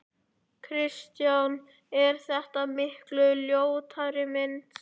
Kristján: Er þetta miklu ljótari mynd?